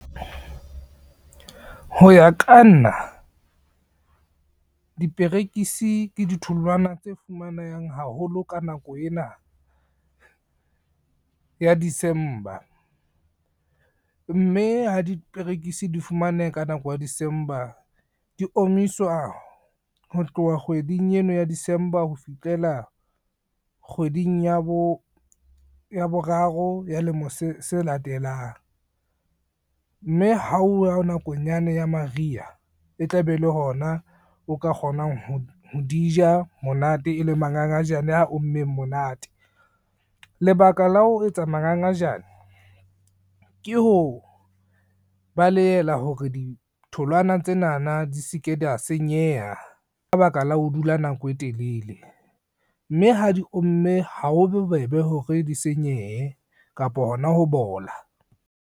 Ho ya ka nna diperekisi ke ditholwana tse fumanehang haholo ka nako ena ya December, mme ha diperekisi di fumaneha ka nako ya December di omiswa ho tloha kgweding ena ya December ho fihlela kgweding ya bo ya boraro ya lemo se latelang, mme ha uwa nakong yane ya mariha e tlabe e le hona o ka kgonang ho di ja monate e le mangangajane a ommeng monate. Lebaka la ho etsa mangangajane ke ho balehela hore ditholwana tsenana di se ke dia senyeha ka baka la ho dula nako e telele, mme ha di omme ha ho bobebe hore di senyehe kapo hona ho bola.